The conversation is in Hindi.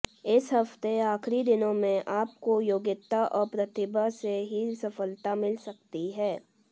इस हफ्ते आखिरी दिनों में आपको योग्यता और प्रतिभा से ही सफलता मिल सकती है